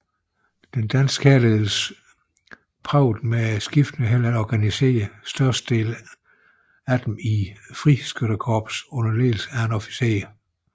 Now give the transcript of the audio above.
Den danske hærledelse søgte med skiftende held at organisere størstedelen af dem i friskyttekorps under ledelse af officerer